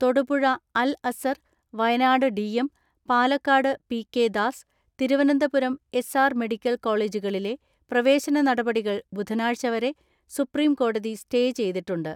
Thodupuzha Al Azhar, Wayanad DM, Palakkad PK Das, Thiruvananthapuram SR medical കോള ജുകളിലെ പ്രവേശന നടപടികൾ ബുധനാഴ്ചവരെ സുപ്രീം കോടതി സ്റ്റേ ചെയ്തിട്ടുണ്ട്.